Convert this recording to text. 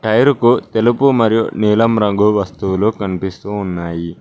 Tyre కు తెలుపు మరియు నీలం రంగు వస్తువులు కనిపిస్తూ ఉన్నాయి.